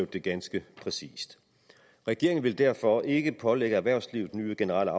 det ganske præcist regeringen vil derfor ikke pålægge erhvervslivet nye generelle